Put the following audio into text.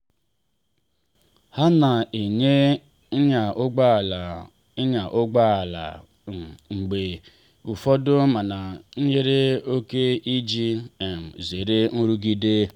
ha na enye ịnya ụgbọ ala ịnya ụgbọ ala um mgbe ụfọdụ mana nyere oke iji um zere nrụgide.